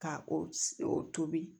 Ka o tobi